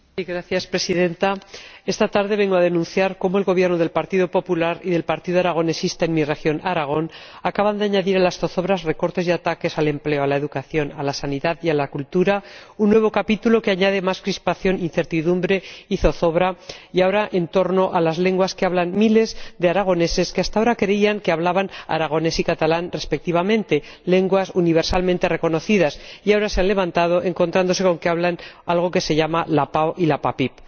Señora Presidenta, esta tarde vengo a denunciar que el Gobierno del Partido Popular y del Partido Aragonés Regionalista en mi región, Aragón, acaban de añadir a las zozobras, recortes y ataques al empleo, a la educación, a la sanidad y a la cultura un nuevo capítulo que añade más crispación, incertidumbre y zozobra, y ahora en torno a las lenguas que hablan miles de aragoneses que hasta ahora creían que hablaban aragonés y catalán respectivamente ―lenguas universalmente reconocidas― y ahora se han levantado encontrándose con que hablan algo que se llama la PAO y la PAPIP.